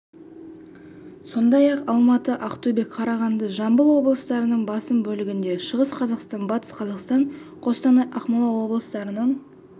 сондай-ақ алматы ақтөбе қарағанды жамбыл облыстарының басым бөлігінде шығыс қазақстан батыс қазақстан қостанай ақмола облыстарының